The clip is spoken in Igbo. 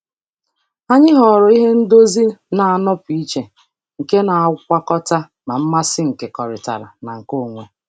Anyị họọrọ ihe ndozi na-anọpụ iche nke na-agwakọta ma mmasị nkekọrịtara na nke onwe.